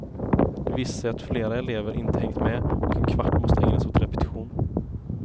Det visar sig att flera elever inte hängt med, och en kvart måste ägnas åt repetition.